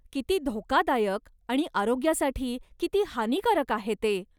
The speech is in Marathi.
किती धोकादायक आणि आरोग्यासाठी किती हानिकारक आहे ते.